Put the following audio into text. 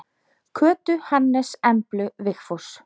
Kötu, Hannes, Emblu, Vigfús.